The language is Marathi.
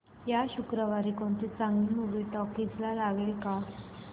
या शुक्रवारी कोणती चांगली मूवी टॉकीझ ला लागेल का